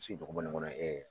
si tɔgɔ bɔ nin kɔnɔ